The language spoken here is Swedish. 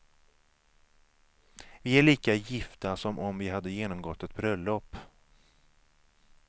Vi är lika gifta som om vi hade genomgått ett bröllop.